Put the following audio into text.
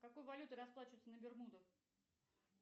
какой валютой расплачиваются на бермудах